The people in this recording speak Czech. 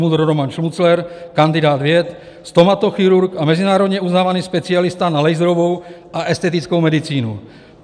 MUDr. Roman Šmucler, kandidát věd, stomatochirurg a mezinárodně uznávaný specialista na laserovou a estetickou medicínu.